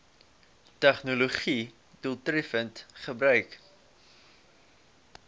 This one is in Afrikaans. tegnologië doeltreffend gebruik